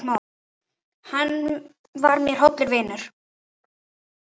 Hann var mér hollur vinur.